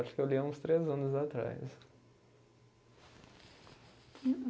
Acho que eu li há uns três anos atrás.